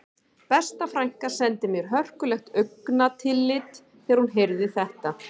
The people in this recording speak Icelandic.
Besta frænka sendi mér hörkulegt augnatillit þegar hún heyrði þetta